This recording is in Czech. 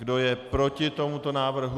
Kdo je proti tomuto návrhu?